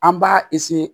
An b'a